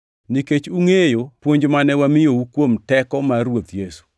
Nikech ungʼeyo puonj mane wamiyou kuom teko mar Ruoth Yesu.